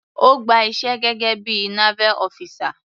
Ó gba iṣẹ́ gẹ́gé bí i naval officer.